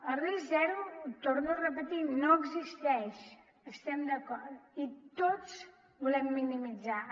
el risc zero ho torno a repetir no existeix hi estem d’acord i tots volem minimitzar lo